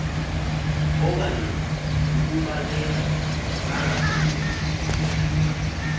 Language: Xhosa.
okanye kukubaleka angagodoliswa